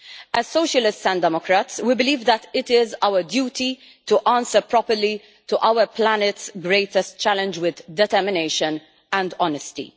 As Socialists and Democrats, we believe that it is our duty to respond properly to our planet's greatest challenge with determination and honesty.